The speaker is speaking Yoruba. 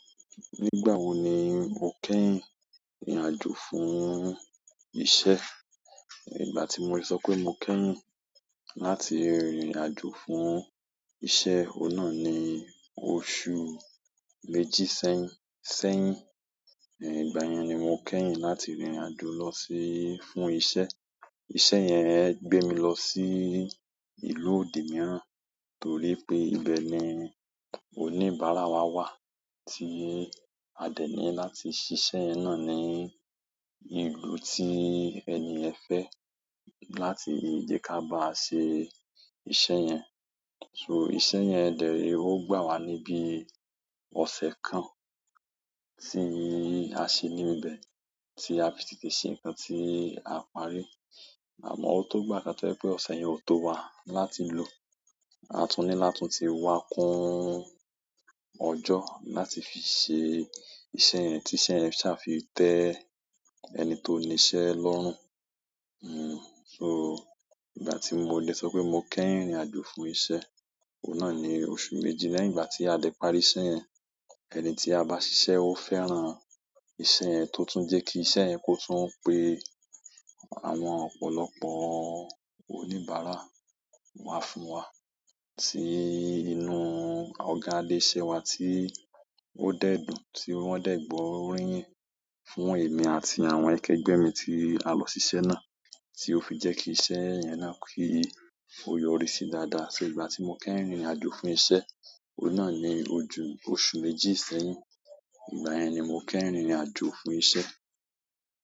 Nígbà wo ni mo kẹ́yìn rìnrìn àjò fún iṣẹ́? Nígbà tí mo lẹ sọ pé mo kẹ́yìn láti rìnrìn àjò fún iṣẹ́, òun náà ni ọ̀su mẹ́ji sẹ́yìn. Ẹ̀yin ìgbà yẹn ni mo kẹ́yìn láti rìnrìn àjò lọ sí fún iṣẹ́. Iṣẹ́ yẹn gbé mi lọ sí ìlú òdì mìíràn, torí pé ibẹ̀ ni oníbàárà wa wà tí a dẹ ní láti ṣiṣẹ́ yẹn náà ní ìlú tí ẹni yẹn fẹ́ láti jẹ́ ká báa ṣe iṣẹ́ yẹn. So iṣẹ́ yẹn dẹ̀ re, ó gbà wá ní bí ọ̀sẹ̀ kan eyin ìgbà yẹn ni mo kẹ́yìn láti rìnrìn àjò lọ sí fún iṣẹ́. Iṣẹ́ yẹn gbé mi lọ sí ìlú òdì mìíràn, torí pé ibẹ̀ ni oníbàárà wa wà tí a dẹ ní láti ṣiṣẹ́ yẹn náà ní àmọ́ ó tó gbà ká tẹ́ pé ọ̀ṣe yẹn ò tó wa láti lò. A tún ní láti tún ti wá kún ọjọ́ láti fi ṣe iṣẹ́ yẹn tí iṣẹ́ yẹn sì a fi tẹ ẹni tó níṣẹ́ lọ́rùn. Hmm, so ìgbà tí mo dẹ sọ pé mo kẹ́yìn rìnrìn àjò fún iṣẹ́, òun náà ni oṣù méjì lẹ́hìn ìgbà tí a dé parí iṣẹ́ yẹn. Ẹni tí a bá ṣiṣẹ́ ó fẹ́ràn iṣẹ́ yẹn tó tún jẹ́ kí iṣẹ́ yẹn kó tún pé àwọn ọ̀pọ̀lọpọ̀ oníbàárà wá fún wa tí inú ọ̀gá Adéṣẹwà tí ó dẹ̀ dùn tí wọ́n dẹ̀ gbọ́ òri yin fún èmi àti àwọn akẹgbẹ́ mi tí a lọ ṣisé náà, tí ó fi jẹ́ kí iṣẹ́ yẹn náà kí ó yọrí sí dáadáa. So ìgbà tí mo kẹ́yìn rìnrìn àjò fún iṣẹ́, òun náà ni ojú oṣù méjì sẹ́yìn. Ìgbà yẹn ni mo kẹ́yìn rìnrìn àjò fún iṣẹ́.